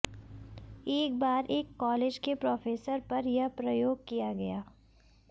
एक बार एक कॉलेज के प्रोफेसर पर यह प्रयोग किया गया